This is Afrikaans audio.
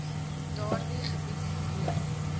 daardie gebied woon